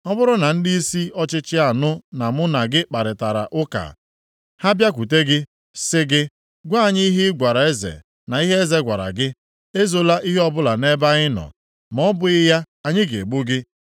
Ọ bụrụ na ndịisi ọchịchị anụ na mụ na gị kparịtara ụka, ha bịakwute gị, sị gị, ‘Gwa anyị ihe ị gwara eze na ihe eze gwara gị, ezola ihe ọbụla nʼebe anyị nọ, ma ọ bụghị ya anyị ga-egbu gị,’